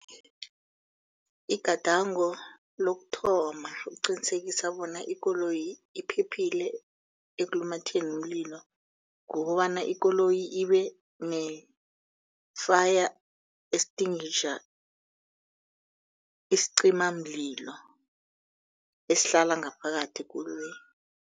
Igadango lokuthoma eliqinisekisa bona ikoloyi iphephile ekulumatheni umlilo. Kukobana ikoloyi ibe ne-fire extinguisher isicimamlilo esihlala ngaphakathi ekoloyini.